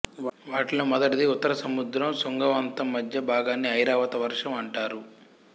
వాటిలో మొదటిది ఉత్తర సముద్రం శృంగవంతం మధ్య భాగాన్ని ఐరావత వర్షం అంటారు